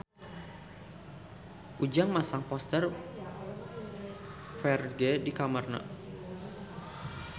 Ujang masang poster Ferdge di kamarna